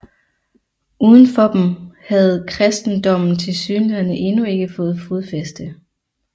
Uden for dem havde kristendommen tilsyneladende endnu ikke fået fodfæste